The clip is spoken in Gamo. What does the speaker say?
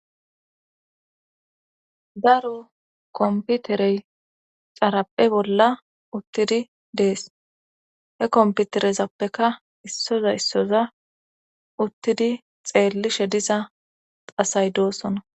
daro komputerey xaraphe bolla uttidi dees he komputerezappeka issoza issoza uttidi xeellishe diza asay doosona